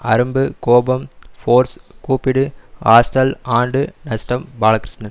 அரும்பு கோபம் ஃபோர்ஸ் கூப்பிடு ஹாஸ்டல் ஆண்டு நஷ்டம் பாலகிருஷ்ணன்